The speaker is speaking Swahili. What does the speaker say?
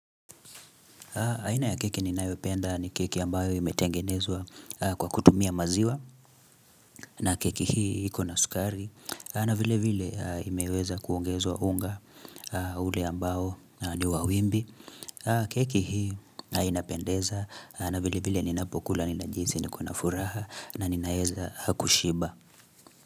Aina ya keki ninayopenda ni keki ambayo imetengenezwa kwa kutumia maziwa, na keki hii ikona sukari, na vile vile imeweza kuongezwa unga ule ambao ni wa wimbi. Keki hii inapendeza, na vile vile ninapokula, ninajihisi, niko na furaha, na ninaweza kushiba.